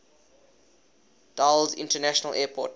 dulles international airport